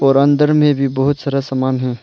और अंदर में भी बहुत सारा सामान है।